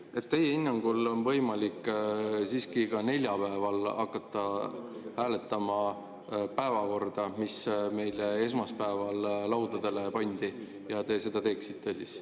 Nii et teie hinnangul on võimalik siiski ka neljapäeval hakata hääletama päevakorda, mis meile esmaspäeval laudadele pandi, ja te seda teeksite?